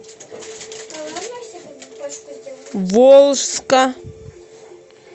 волжска